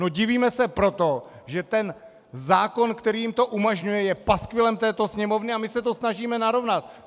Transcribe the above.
No, divíme se proto, že ten zákon, který jim to umožňuje, je paskvilem této Sněmovny, a my se to snažíme narovnat.